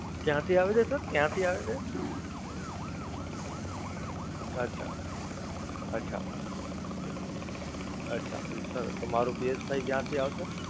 ક્યાંથી આવે છે Sir? ક્યાંથી આવે છે? અચ્છા અચ્છા અચ્છા Sir તો મારુ PSFive ક્યાંથી આવશે?